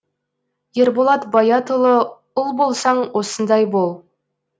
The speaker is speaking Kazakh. ерболат баятұлы ұл болсаң осындай бол